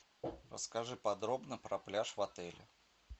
расскажи подробно про пляж в отеле